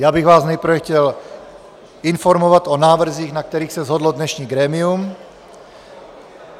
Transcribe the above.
Já bych vás nejprve chtěl informovat o návrzích, na kterých se shodlo dnešní grémium.